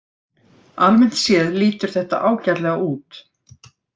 Almennt séð lítur þetta ágætlega út